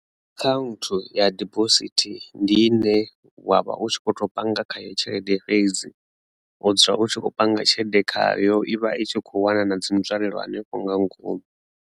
Account ya dibosithi ndi i ne wa vha u tshi kho to panga khayo tshelede fhedzi o dzula u tshi khou panga tshelede khayo ivha i tshi kho wana na dzi nzwalelo hanefho nga ngomu.